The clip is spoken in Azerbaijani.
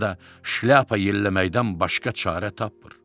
ya da şlyapa yelləməkdən başqa çarə tapmır.